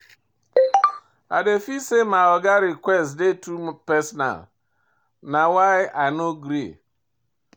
I dey feel sey my oga request dey too personal na why I no gree.